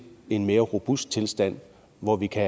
en mere robust tilstand hvor vi kan